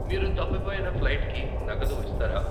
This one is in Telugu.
మీరు తప్పిపోయిన ఫ్లైట్కి నగదు ఇస్తారా?